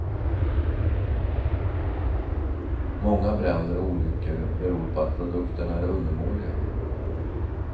Många bränder och olyckor beror på att produkterna är undermåliga.